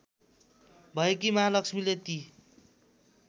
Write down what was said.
भएकी महालक्ष्मीले ती